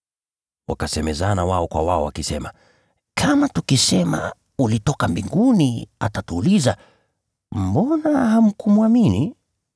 Wakahojiana wao kwa wao wakisema, “Kama tukisema, ‘Ulitoka mbinguni,’ atatuuliza, ‘Mbona hamkumwamini?’